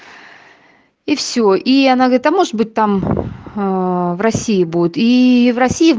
и всё и она говорит а может быть там аа в россии будет ии в россии